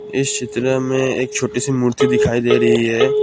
इस चित्र में एक छोटी सी मूर्ति दिखाई दे रही है।